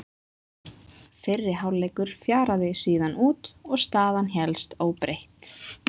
Fyrri hálfleikur fjaraði síðan út og staðan hélst óbreytt.